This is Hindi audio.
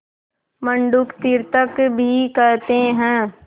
मंडूक तीर्थक भी कहते हैं